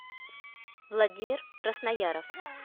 владимир краснояров